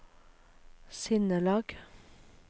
sinnelag